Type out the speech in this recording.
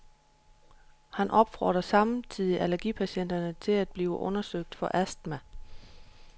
Han opfordrer samtidigt allergipatienterne til at blive undersøgt for astma.